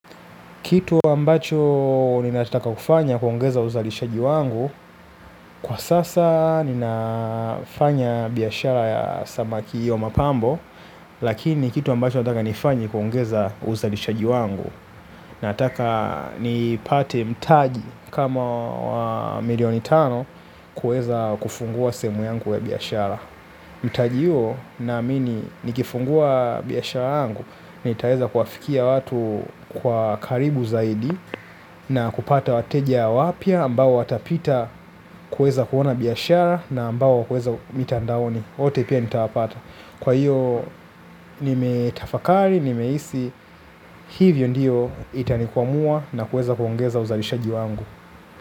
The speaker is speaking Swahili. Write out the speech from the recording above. Kitu ambacho ninataka kufanya kuongeza uzalishaji wangu kwa sasa ninafanya biashara ya sabaki ya mapambo. Lakini kitu ambacho nataka nifanye kuongeza uzalishaji wangu. Nataka nipate mtaji kama wa milioni tano kuweza kufungua sehemu yangu ya biashara. Mtaji huo naamini nikifungua biashara yangu nitaweza kuwafikia watu kwa karibu zaidi na kupata wateja wapya ambao watapita kuweza kuona biashara na ambao hueza mitandaoni. Wote pia nitawapata. Kwa hiyo nimetafakari, nimehisi hivyo ndiyo itanikwamua na kuweza kuongeza uzalishaji wangu.